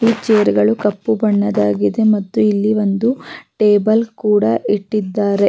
ಈ ಚೇರ್ ಗಳು ಕಪ್ಪು ಬಣ್ಣದ್ದಾಗಿದೆ ಮತ್ತ್ತು ಇಲ್ಲಿ ಒಂದು ಟೇಬಲ್ ಕೂಡ ಇಟ್ಟಿದ್ದಾರೆ-